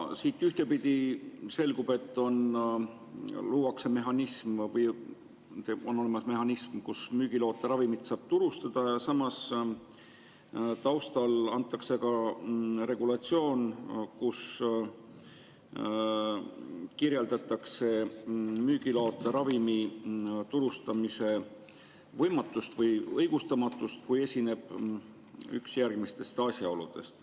Siit ühtpidi selgub, et on olemas mehhanism, mille kohaselt müügiloata ravimit saab turustada, ja samas taustal antakse ka regulatsioon, kus kirjeldatakse müügiloata ravimi turustamise võimatust või õigustamatust, kui esineb üks järgmistest asjaoludest.